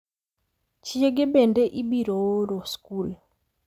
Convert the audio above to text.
Chiege bende ibiro oro skul .